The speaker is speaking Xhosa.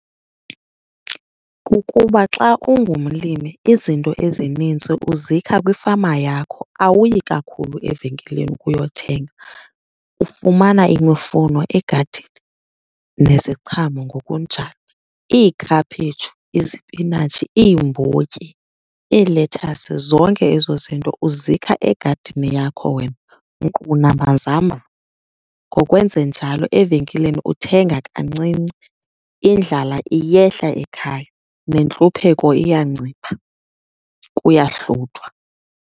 Kukuba xa ungumlimi izinto ezinintsi uzikha kwifama yakho, awuyi kakhulu evenkileni uyothenga. Ufumana imufuno egadini neziqhamo ngokunjalo. Iikhaphetshu, izipinatshi, iimbotyi, iilethasi, zonke ezo zinto uzikha egadini yakho wena nkqu namazambane. Ngokwenze njalo evenkileni uthenga kancinci, indlala iyehla ekhaya nentlupheko iyancipha, kuyahluthwa.